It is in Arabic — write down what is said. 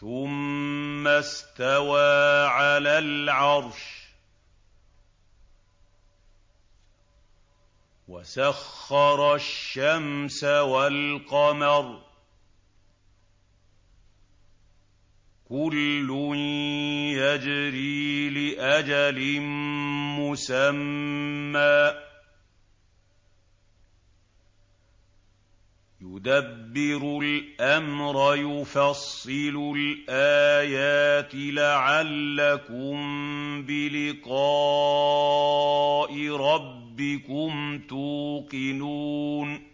ثُمَّ اسْتَوَىٰ عَلَى الْعَرْشِ ۖ وَسَخَّرَ الشَّمْسَ وَالْقَمَرَ ۖ كُلٌّ يَجْرِي لِأَجَلٍ مُّسَمًّى ۚ يُدَبِّرُ الْأَمْرَ يُفَصِّلُ الْآيَاتِ لَعَلَّكُم بِلِقَاءِ رَبِّكُمْ تُوقِنُونَ